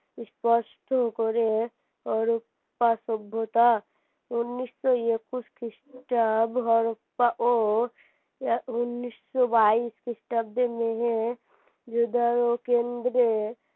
স্পষ্ট করে সভ্যতা উন্নিশশো একুশ ও উন্নিশশো বাইশ খ্রিস্টাব্দে কেন্দ্রে